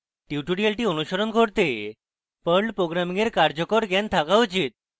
tutorial অনুসরণ করতে perl programming এর কার্যকর জ্ঞান থাকা উচিত